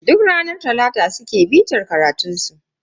Duk ranar talata suke bitar karatunsu